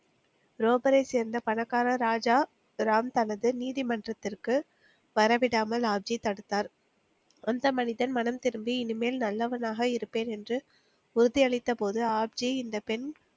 ரோபரை சேர்ந்த பணக்கார ராஜா ராம் தனது நீதி மன்றத்திற்கு வரவிடாமல் ஆப்ஜி தடுத்தார், அந்த மனிதன் மனம் திருந்தி இனிமேல் நல்லவனாக இருப்பேன் என்று உறுதியளித்தபோது ஆப்ஜி இந்த பெண்